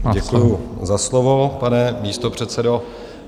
Děkuju za slovo, pane místopředsedo.